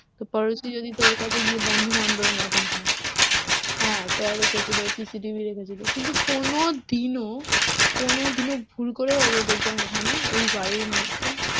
তো যদি তোর কাছে গিয়ে বন্ধুবান্ধবের মতন হয়, চর হয়ে এসেছিলো আর কি, চর রেখেছিলো CCTV রেখেছিল, কিন্তু কোনো দিনও কোনো দিনও ভুল করেও অজয় দেবগন ওখানে ওই বাড়ির মধ্যেই